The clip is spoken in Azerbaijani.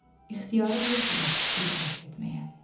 İxtiyarım yoxdur yad kişiylə rəqs etməyə.